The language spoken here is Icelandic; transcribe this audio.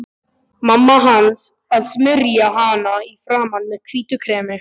Mamma hans að smyrja hana í framan með hvítu kremi.